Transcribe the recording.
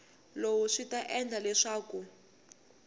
lowu swi ta endla leswaku